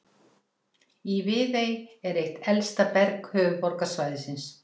Í Viðey er eitt elsta berg höfuðborgarsvæðisins.